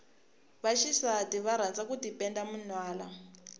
va xisati va rhandza ku tipenda minwana